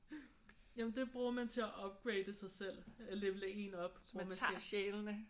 Jamen det bruger man til at upgrade sig selv. Level en op bruger man til